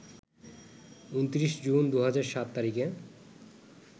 ২৯ June ২০০৭ তারিখে